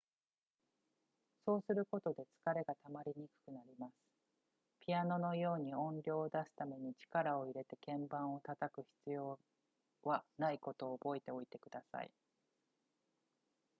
そうすることで疲れがたまりにくくなりますピアノのように音量を出すために力を入れて鍵盤を叩く必要はないことを覚えておいてください